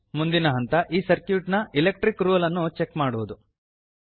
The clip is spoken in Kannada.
ಮುಂದಿನ ಹಂತ ಈ ಸರ್ಕ್ಯೂಟ್ ನ ಎಲೆಕ್ಟ್ರಿಕ್ ರೂಲ್ ಅನ್ನು ಚೆಕ್ ಮಾಡುವುದು